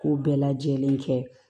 K'o bɛɛ lajɛlen kɛ